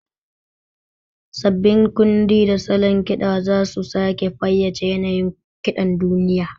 Sabbin kundi da salon ƙiɗa za su sake fayyace yanayin kiɗan duniya.